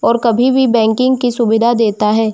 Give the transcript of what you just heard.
और कभी भी बैंकिंग की सुविधा देता है।